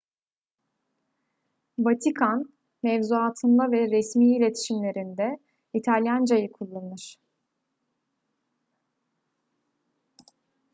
vatikan mevzuatında ve resmi iletişimlerinde i̇talyancayı kullanır